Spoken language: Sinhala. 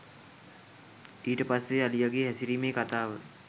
ඊට පස්සෙ අලියගෙ හැසිරීමේ කතාව